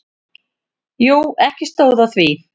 Jú, ekki stóð á því.